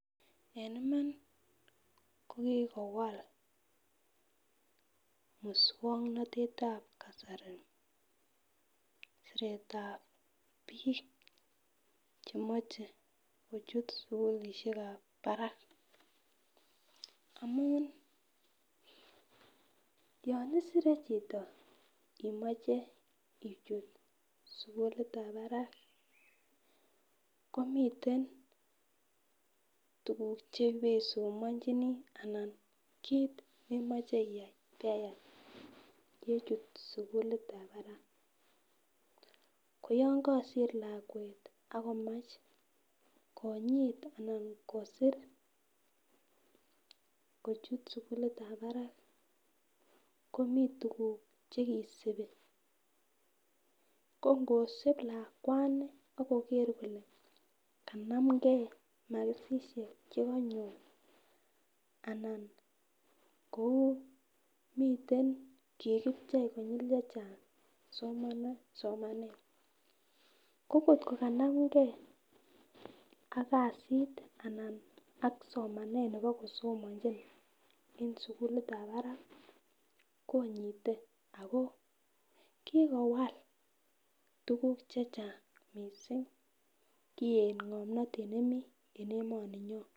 En Iman ko kikowal muswoknotetab kasari siretab bik chemoche kochut sukulishekab barak amun yon isire chito imoche ichute sukilitab barak komiten tukuk cheibesomonchinii anan kit nemoche iyai beyai yechut sukulitab barak koyon kosir lakwet ak komach kinyit kosir sukulitab barak komii tukuk chekisibi ko ngosib lakwani ak koger kole kanamgee makisishek chekonyor anan komiten kikiochei somanet, ko kotko kanamgee ak kasit anan ak somanet nebo kosomonchin en sukulitab barak konyite ako kikowal tukuk chechang missing koyet ngomnotet nemii en emoni nyon.